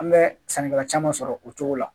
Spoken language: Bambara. An bɛ sannikɛla caman sɔrɔ o cogo la